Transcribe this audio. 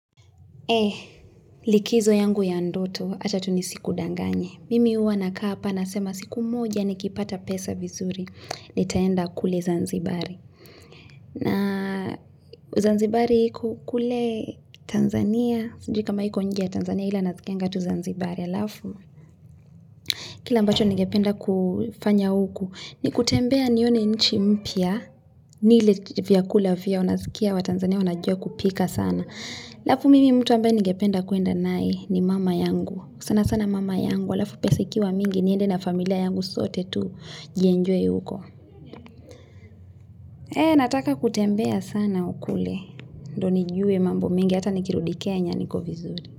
Likizo yangu ya ndoto ata tu nisikudanganye. Mimi huwa nakaa hapa, nasema siku moja, nikipata pesa vizuri, nitaenda kule Zanzibari. Na Zanzibari iko kule Tanzania, sijui kama iko nje ya Tanzania ila nasikianga tu Zanzibari halafu. Kile ambacho nigependa kufanya huku, ni kutembea nione inchi mpya, nile vyakula vyao, nasikia watanzania, wanajua kupika sana. Halafu mimi mtu ambaye ningependa kwenda naye ni mama yangu sanasana mama yangu halafu pesa ikiwa mingi niende na familia yangu sote tujienjoy huko. Nataka kutembea sana kule. Ndo nijue mambo mingi hata nikirudi kenya niko vizuri.